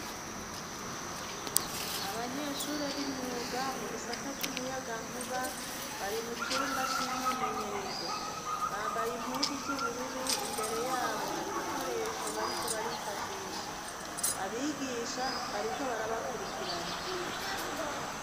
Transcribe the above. Abanyeshure b'imyuga mu gisata c'umuyagankuba bari mu cumba c'imyimenyerezo, bambaye impuzu z'ubururu imbere yabo hari ibikoresho bariko barifashisha abigisha bariko barabakurikirana.